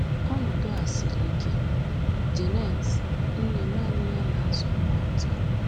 Ọnọdụ a siri ike.” — Janet, nne nanị ya na-azụ ụmụ atọ